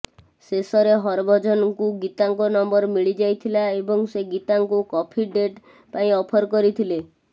ଶେଷରେ ହରଭଜନଙ୍କୁ ଗୀତାଙ୍କ ନମ୍ବର ମିଳିଯାଇଥିଲା ଏବଂ ସେ ଗୀତାଙ୍କୁ କଫି ଡେଟ୍ ପାଇଁ ଅଫର କରିଥିଲେ